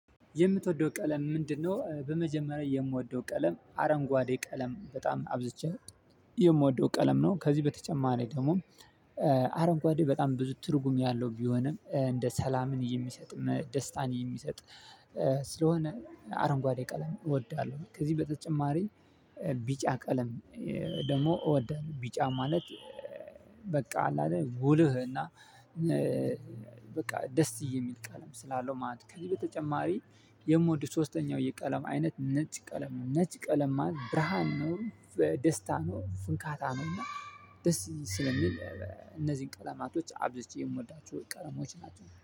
የምትወደው ቀለም ምንድነው በመጀመሪያ የምወደው ቀለም አረንጓዴ ቀለም በጣም አብዝቼ የምወደው ቀለም ነው ከዚህ በተጨማሪ ደግሞ አረንጓዴ በጣም ብዙ ትርጉም ያለው ቢሆንም እንደ ሰላምን የሚሰጥ ደስታን የሚሰጥ ስለሆነ አረንጓዴ ቀለም እወዳለሁ። ከዚህ በተጨማሪ ቢጫ ቀለም ደግሞ እወዳለሁ። ቢጫ ማለት በቃ አለ አይደል ጉልህ እና። በቃ ደስ የሚል ቀለም ስላለው ማለት ከዚህ በተጨማሪ የምወድ ሶስተኛው የቀለም አይነት ነጭ ቀለም ነጭ ቀለም ማለት ብርሃን ነው። ደስታ ነው ፍካታ ነውና ደስ ስለሚል እነዚህን ቀለማቶች አብዝቼ የምወዳቸው ቀለሞች ናቸው